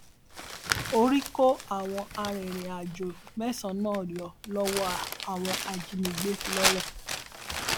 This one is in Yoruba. orí kó àwọn arìnrìnàjò mẹsànán yọ lọwọ àwọn ajinígbé lọrẹ